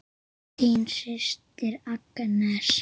Þín systir Agnes.